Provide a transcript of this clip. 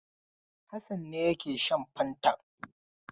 Hassan ne yake shan fantan.